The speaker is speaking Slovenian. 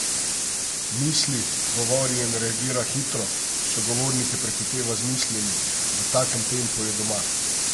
Misli, govori in reagira hitro, sogovornike prehiteva z mislimi, v takem tempu je doma.